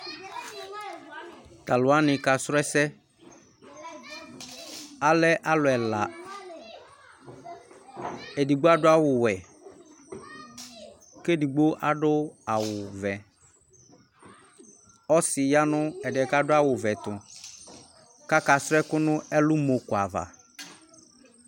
talu wʋani ka srɔ ɛsɛ, alɛ alu ɛla, edigbo adu awu wɛ, ku edigbo adu awu vɛ, ɔsi ya nu ɛdiɛ ku adu awu vɛ tu , kaka du ɛku nu ɛlumɔ ku ava